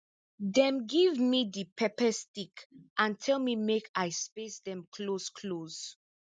dem give me di pepper stick and tell me make i space dem closeclose